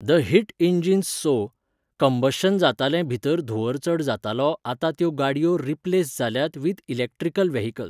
The heat engines so, combustion जातालें भितर धुंवर चड जातालो आता त्यो गाडयो रिप्लेस जाल्यात विथ इलॅक्ट्रिकल वॅहिकल्स.